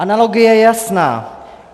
Analogie je jasná.